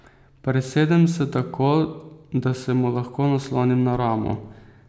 Presedem se tako, da se mu lahko naslonim na ramo.